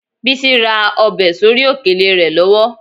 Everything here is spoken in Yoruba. Bísí ra ọbẹ̀ sórí òkèlè rẹ lọ́wọ́